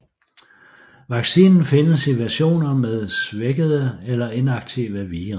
Vaccinen findes i versioner med svækkede eller inaktive vira